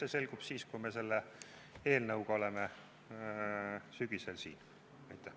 Eks see selgub siis, kui me selle eelnõuga sügisel siin oleme.